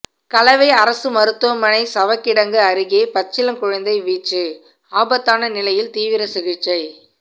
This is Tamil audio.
கலவை அரசு மருத்துவமனை சவக்கிடங்கு அருகே பச்சிளங்குழந்தை வீச்சு ஆபத்தான நிலையில் தீவிர சிகிச்சை